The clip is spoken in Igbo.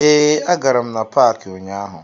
Ee, agara m na paakị ụnyaahụ